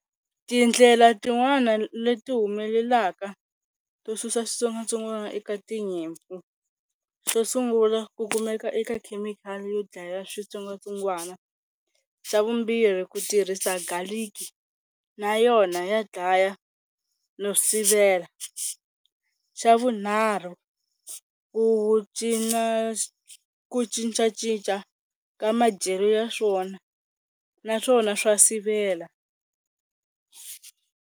Tindlela tin'wana leti humelelaka to susa switsongwatsongwana eka tinyimpfu xo sungula ku kumeka eka khemikhali yo dlaya switsongwatsongwana, xa vumbirhi ku tirhisa garlic na yona ya dlaya no sivela, xa vunharhu ku cina ku cincacinca ka madyelo ya swona naswona swa sivela.